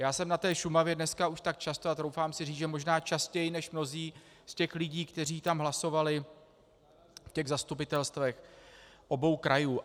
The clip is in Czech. Já jsem na té Šumavě dnes už tak často a troufám si říct, že možná častěji než mnozí z těch lidí, kteří tam hlasovali v těch zastupitelstvech obou krajů.